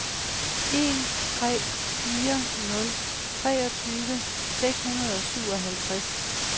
en tre fire nul treogtyve seks hundrede og syvoghalvtreds